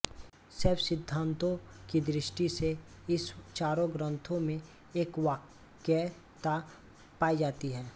शैव सिद्धांतों की दृष्टि से इस चारों ग्रंथों में एकवाक्यता पाई जाती है